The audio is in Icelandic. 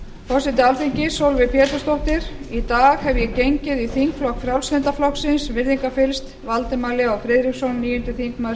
forseti alþingis sólveig pétursdóttir í dag hef ég gengið í þingflokk frjálslynda flokksins virðingarfyllst valdimar leó friðriksson níundi þingmaður